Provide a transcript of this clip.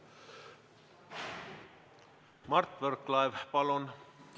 Mart Võrklaev, palun!